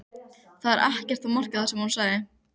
Það er ekkert að marka það sagði hún.